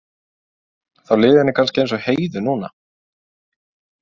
Þá liði henni kannski eins og Heiðu núna.